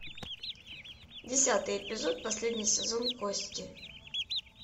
десятый эпизод последний сезон кости